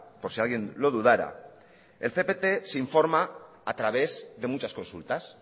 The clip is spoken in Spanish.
por si alguien lo dudara el cpt se informa a través de muchas consultas